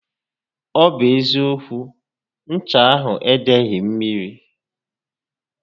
Ọ bụ eziókwu, ncha ahụ edeghi mmiri